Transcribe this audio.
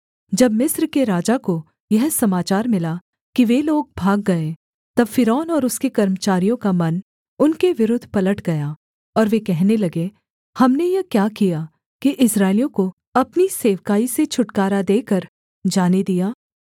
जब मिस्र के राजा को यह समाचार मिला कि वे लोग भाग गए तब फ़िरौन और उसके कर्मचारियों का मन उनके विरुद्ध पलट गया और वे कहने लगे हमने यह क्या किया कि इस्राएलियों को अपनी सेवकाई से छुटकारा देकर जाने दिया